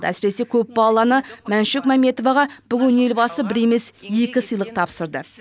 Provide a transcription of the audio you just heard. әсіресе көпбалалы ана мәншүк мәмбетоваға бүгін елбасы бір емес екі сыйлық тапсырды